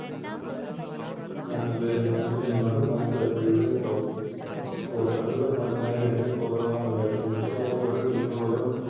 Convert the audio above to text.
നോക്കുകയും നോക്കുന്നതാണ് Match referee യുടെ ദൗത്യം Score കളിയുടെ ഭാഗമായി രണ്ട് Scorer മാർ ഉണ്ടായിരിക്കും മിക്കവാറും ഒരോ Team ലും ഓരോ